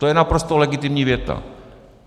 To je naprosto legitimní věta.